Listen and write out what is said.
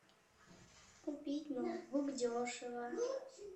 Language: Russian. купить ноутбук дешево